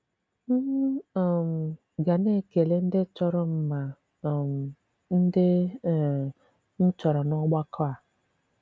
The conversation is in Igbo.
M̀ um ga-na-ekele ndị tọrọ m ma um ndị um m tọrọ n’ògbàkọ̀ a.